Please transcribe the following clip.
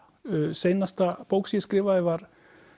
seinasta bók sem ég skrifaði var